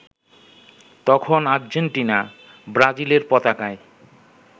তখন আর্জেন্টিনা-ব্রাজিলের পতাকায়